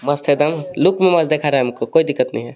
मस्त है कोई दिक्कत नहीं है.